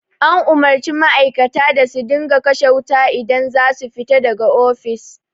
An umarci ma'aikata da su dinga kashe kayan wuta idan za su fita da ga ofis